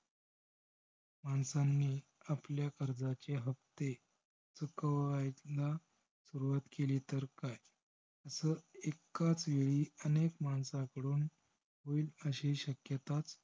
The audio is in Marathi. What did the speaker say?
माणसांनी आपल्या कर्जाचे हफ्ते रोखवायला सुरवात केली तर काय? असं एकाच वेळी अनेक मानसाकडून होईल अशी शक्यता